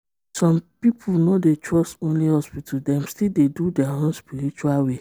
some people no dey trust only hospital dem still dey do their own spiritual way.